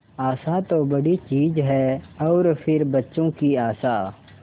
आशा तो बड़ी चीज है और फिर बच्चों की आशा